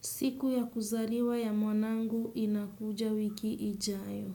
Siku ya kuzariwa ya mwanangu inakuja wiki ijayo.